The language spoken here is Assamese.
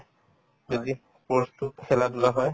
যদি course তো খেলা-ধূলা হয়